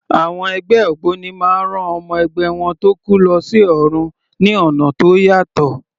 Àwọn ẹgbẹ́ ògbóni máa ń rán ọmọ ẹgbẹ́ wọn tó kú lọ sí ọ̀run ní ọ̀nà tó yàtọ̀.